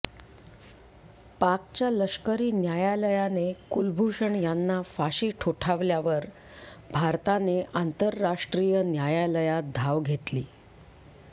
पाकच्या लष्करी न्यायालयाने कुलभूषण यांना फाशी ठोठावल्यावर भारताने आंतरराष्ट्रीय न्यायालयात धाव घेतली